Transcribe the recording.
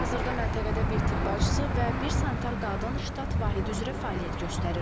Hazırda məntəqədə bir tibb bacısı və bir sanitar qadın ştat vahidi üzrə fəaliyyət göstərir.